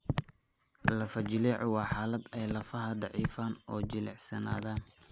Lafo-jileecu waa xaalad ay lafaha daciifaan oo jilicsanaadaan.